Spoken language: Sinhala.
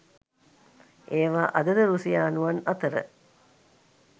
ඒවා අද ද රුසියානුවන් අතර